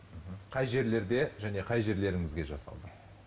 қай жерлерде және қай жерлеріңізге жасалды